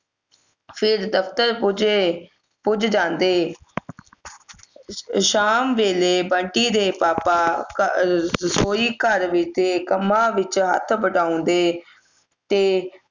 ਫਿਰ ਦਫ਼ਤਰ ਪੁੱਜੇ ਪੁੱਜ ਜਾਂਦੇ ਸ਼ਾਮ ਵੇਲੇ ਬੰਟੀ ਦੇ ਪਾਪਾ ਅਹ ਰਸੋਈ ਘਰ ਦੇ ਕੰਮਾਂ ਵਿਚ ਹੱਥ ਵਢਾਉਂਦੈ ਤੇ